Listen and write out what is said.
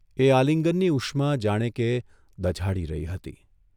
એ આલિંગનની ઉષ્મા જાણે કે દઝાડી રહી હતી !